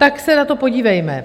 Tak se na to podívejme.